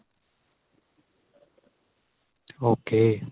ok